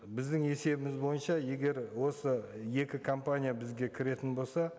біздің есебіміз бойынша егер осы екі компания бізге кіретін болса